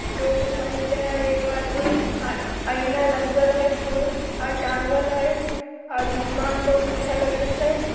टोपी पहिनले हई एगो आदमी। आ आईना लगल हई फूल आर टांगल हई और दुकान बहुत अच्छा लगई छई।